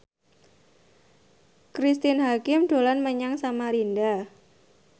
Cristine Hakim dolan menyang Samarinda